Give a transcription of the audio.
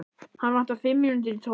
Hana vantar fimm mínútur í tólf